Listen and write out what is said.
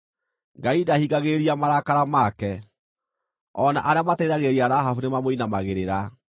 Ngai ndahingagĩrĩria marakara make; o na arĩa maateithagĩrĩria Rahabu nĩmamũinamagĩrĩra.